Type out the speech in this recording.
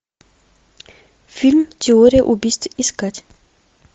фильм теория убийств искать